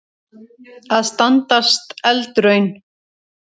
Að standast eldraun